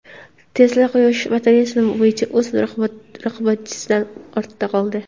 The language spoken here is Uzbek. Tesla quyosh batareyalari bo‘yicha o‘z raqobatchisidan ortda qoldi.